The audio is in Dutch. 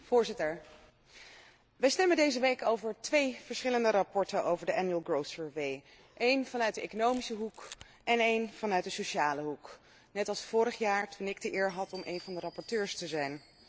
Voorzitter, wij stemmen deze week over twee verschillende verslagen over de jaarlijkse groeianalyse, één vanuit de economische hoek en één vanuit de sociale hoek, net als vorig jaar toen ik de eer had om één van de rapporteurs te zijn.